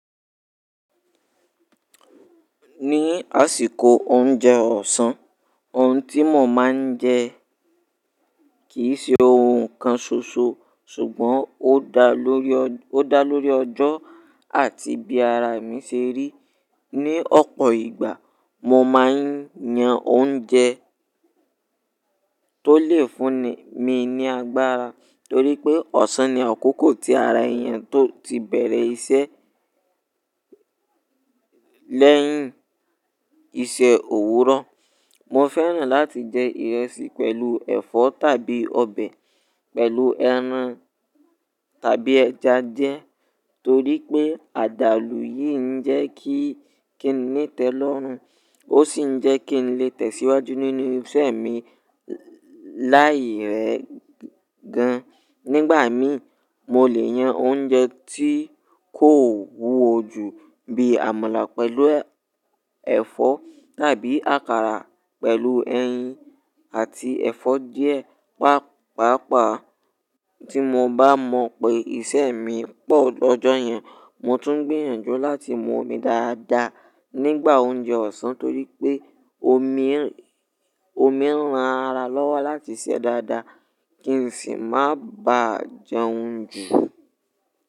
Ní àsìkò oúnjẹ ọ̀sán, oun tí mo máa ń jẹ kì í ṣe ohun kan ṣoṣo, ṣùgbọ́n ó dá lórí ọjọ́ àti bí ara mi ṣe rí. Ní ọ̀pọ̀ ìgbà, mo máa ń yan oúnjẹ tó lè fúnni mi ní agbára torí pé ọ̀sán ni àkókò tí ara èèyàn tó ti bẹ̀rẹ̀ iṣẹ́ lẹ́yìn iṣẹ́ òwúrọ̀. Mo fẹ́ràn láti jẹ ìrẹsì pẹ̀lú ẹ̀fọ́ tàbí ọbẹ̀ pẹ̀lú ẹran tàbí ẹja jẹ torí pé àdàlù yìí ń jẹ́ kí kí n ní tẹ́lọ́rùn ó sì ń jẹ́ kí n lè tẹ̀síwájú nínú iṣẹ́ mi láì rẹ gan. Nígbà mí, mo lè yan oúnjẹ tí kò wúwo ju bí àmàlà pẹ̀lú ẹ̀fọ́ tàbí àkàrà pẹ̀lú ẹyin àti ẹ̀fọ́ díẹ̀. Pàápàá tí mo bá mọ̀ pé iṣẹ́ mi pọ̀ lọ́jọ́ yẹn, mo tún gbìyànjú láti mú omi dáadáa nígbà oúnjẹ ọ̀sán torí pé omi, omi ń ran ara lọ́wọ́ láti iṣẹ́ dáadáa kí n sì má ba jẹun jù.